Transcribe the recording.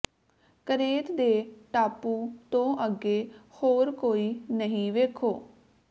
Crete ਦੇ ਟਾਪੂ ਤੋਂ ਅੱਗੇ ਹੋਰ ਕੋਈ ਨਹੀਂ ਵੇਖੋ